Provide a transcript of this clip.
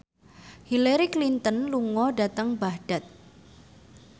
Hillary Clinton lunga dhateng Baghdad